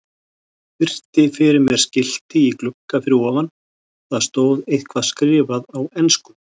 Virti fyrir mér skilti í glugga fyrir ofan, það stóð eitthvað skrifað á ensku.